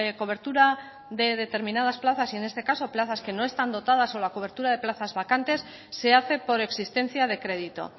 cobertura de determinadas plazas y en este caso plazas que no están dotadas la cobertura de plazas vacantes se hace por existencia de crédito